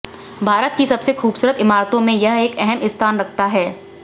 भारत की सबसे खूबसरत इमारतों में यह एक अहम स्थान रखता है